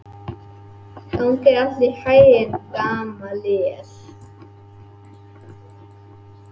Hvað seldirðu konuna þína fyrir mikið?